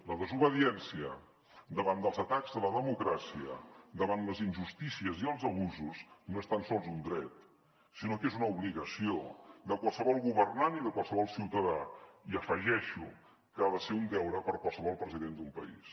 la desobediència davant dels atacs a la democràcia davant les injustícies i els abusos no és tan sols un dret sinó que és una obligació de qualsevol governant i de qualsevol ciutadà i afegeixo que ha de ser un deure per a qualsevol president d’un país